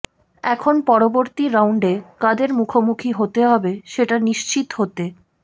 এখন পরবর্তী রাউন্ডে কাদের মুখোমুখি হতে হবে সেটা নিশ্চিত হতে